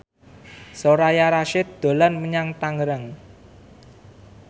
Soraya Rasyid dolan menyang Tangerang